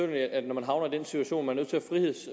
at når man havner i den situation at man